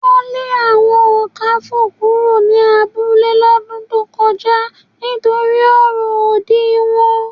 Wọn lè àwọn Ọ̀kàfọ̀ kúrò ní abúlẹ̀ lódún tó kọja nítorí ọ̀rọ̀ ódì wọn